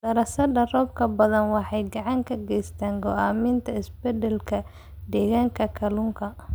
Daraasadda roobabka badda waxay gacan ka geysataa go'aaminta isbeddellada deegaanka kalluunka.